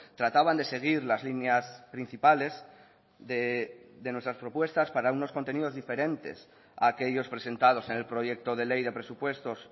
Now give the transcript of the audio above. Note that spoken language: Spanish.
trataban de seguir las líneas principales de nuestras propuestas para unos contenidos diferentes a aquellos presentados en el proyecto de ley de presupuestos